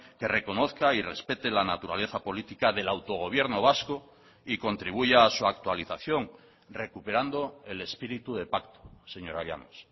que reconozca y respete la naturaleza política del autogobierno vasco y contribuya a su actualización recuperando el espíritu de pacto señora llanos